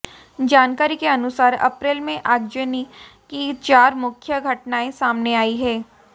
जानकारी के अनुसार अप्रैल में आगजनी की चार मुख्य घटनाएं सामने आई हैं